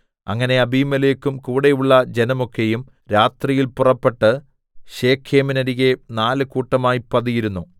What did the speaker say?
അങ്ങനെ അബീമേലെക്കും കൂടെയുള്ള ജനമൊക്കെയും രാത്രിയിൽ പുറപ്പെട്ട് ശെഖേമിന്നരികെ നാല് കൂട്ടമായി പതിയിരുന്നു